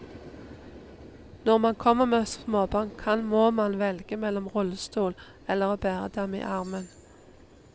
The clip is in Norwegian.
Når man kommer med småbarn kan må man velge mellom rullestol eller å bære dem i armen.